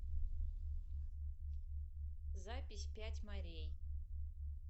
запись пять морей